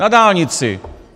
Na dálnici!